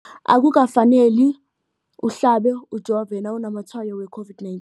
Akuka faneli uhlabe, ujove nawu namatshayo we-COVID-19.